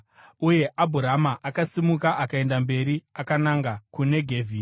Uye Abhurama akasimuka akaenda mberi akananga kuNegevhi.